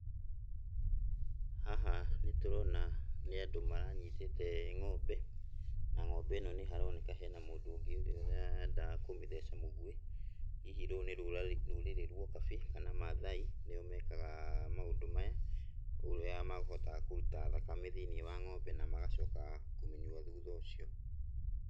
Haha nĩtũrona nĩ andũ manyitĩte ng'ombe, na ng'ombe ĩno nĩharoneka hena mũndũ ũngĩ ũrĩa ũrenda kũmĩtheca mũgwĩ. Hihi rũrũ nĩ rũrarĩ, rũrĩrĩ rwo ũkabi kana mathai nĩo mekaga maũndũ maya, ũrĩa mahotaga kũruta thakame thĩiniĩ wa ng'ombe na magacoka kũmĩnyua thuutha ũcio.